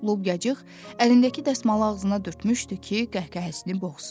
Lobyacıq əlindəki dəsmalı ağzına dörtmüşdü ki, qəhqəhəsini boğsun.